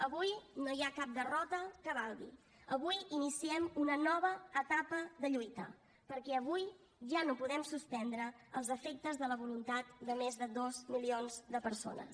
avui no hi ha cap derrota que valgui avui iniciem una nova etapa de lluita perquè avui ja no podem suspendre els efectes de la voluntat de més de dos milions de persones